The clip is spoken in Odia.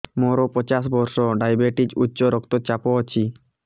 ମୋର ପଚାଶ ବର୍ଷ ଡାଏବେଟିସ ଉଚ୍ଚ ରକ୍ତ ଚାପ ଅଛି